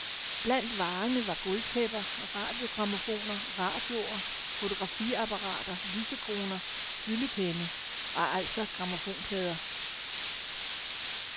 Blandt varerne var gulvtæpper, radiogrammofoner, radioer, fotografiapperater, lysekroner, fyldepenne og altså grammofonplader.